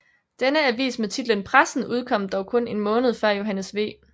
Denne avis med titlen Pressen udkom dog kun en måned før Johannes V